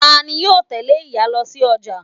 Tani yóò tẹ́lé ìyá lo sí ọjà